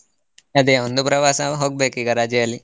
ಅದೇ ಒಂದು ಪ್ರವಾಸ ಹೋಗ್ಬೇಕು ಈಗ ರಜೆಯಲ್ಲಿ.